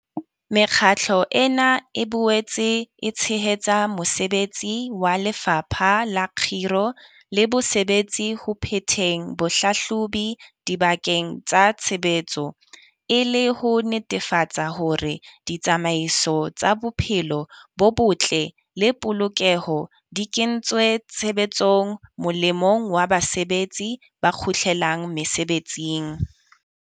Mekgatlo ena e boetse e tshehetsa mosebetsi wa Lefapha la Kgiro le Bosebetsi ho phetheng bohlahlobi dibakeng tsa tshebetso, e le ho netefatsa hore ditsamaiso tsa bophelo bo botle le polokeho di kentswe tshebetsong molemong wa basebetsi ba kgutlelang mesebetsing.